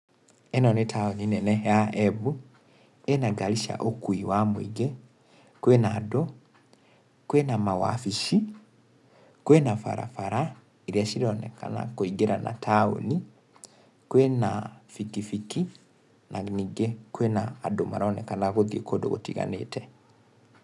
Ĩno nĩ taũni nene ya Embu, ĩna ngari cia ũkui wa mũingĩ, kwĩna andũ, kwina mawabici, kwina barabara iria cironekna kũingĩra na taũni, kwĩna bikibiki, na ningĩ kwina andũ maronekana gũthiĩ kũndũ gũtiganĩte.